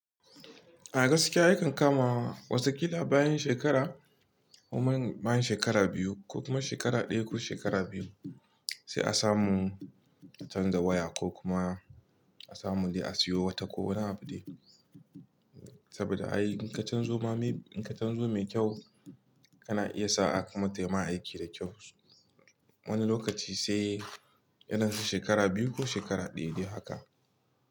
A gaskiya a yakan kama wata kila bayan shekara kuma bayan shekara biyu ko kuma shekara ɗaya ko shekara biyu sai a samu a canza waya ko kuma a samu dai a siyo wata ko wani abu dai. Saboda ai in ka canzo mai kyau kana iya sa a haka ma tama aiki da kyau. Wani lokaci sai irin su shekara biyu ko shekara ɗaya dai haka.